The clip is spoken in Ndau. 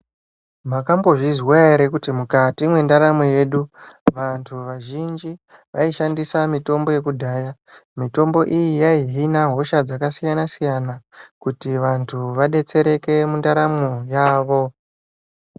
Makambozvizwa ere kuti mwukati mwendaramo yedu vantu vazhinji vaishandisa mitombo yekudhaya. Mitombo iyi haihina hosha dzakasiyana siyana kuti vantu vadetsereke mwundaramwo yavo.